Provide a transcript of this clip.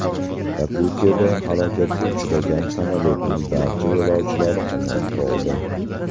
Yakutiyada halokatga uchragan samolyotning barcha yo‘lovchilari omon qoldi.